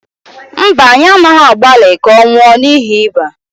mba, anyị anaghị agbalị ka ọ nwụọ n’ihi ịba